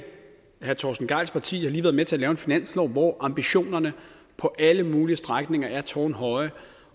herre torsten gejls parti har lige været med til at lave en finanslov hvor ambitionerne på alle mulige strækninger er tårnhøje